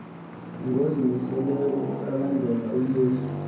ngozimiseleyo ukulandela uyesu